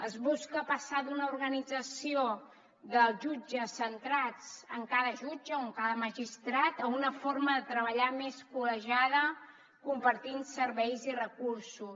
es busca passar d’una organització dels jutges centrats en cada jutge o en cada magistrat a una forma de treballar més col·legiada compartint serveis i recursos